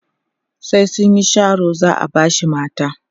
sai sunyi Sharo za'a bashi mata